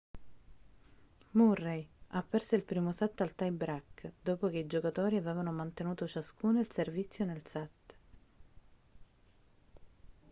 murray ha perso il primo set al tie-break dopo che i giocatori avevano mantenuto ciascuno il servizio nel set